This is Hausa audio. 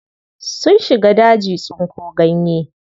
Sun shiga daji tsinko ganye.